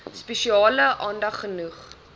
spesiale aandag genoeg